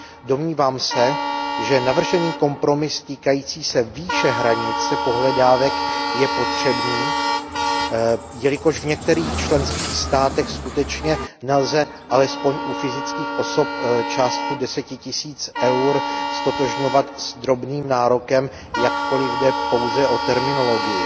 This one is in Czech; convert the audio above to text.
Domnívám se, že navržený kompromis týkající se výše hranice pohledávek je potřebný, jelikož v některých členských státech skutečně nelze alespoň u fyzických osob částku deseti tisíc EUR ztotožňovat s drobným nárokem, jakkoliv jde pouze o terminologii.